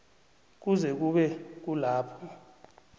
kuze kube kulapho